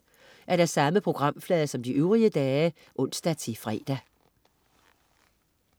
Samme programflade som øvrige dage (ons-fre)